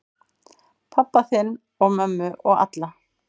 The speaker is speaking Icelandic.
Pabba þinn og mömmu og alla.